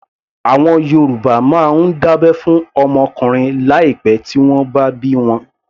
Àwọn Yorùbá máa ń dábẹ́ fún ọmọ ọkùnrin láì pẹ tí wọ́n bá bí wọn